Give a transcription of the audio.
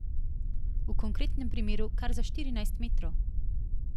V konkretnem primeru kar za štirinajst metrov.